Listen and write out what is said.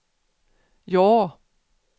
ja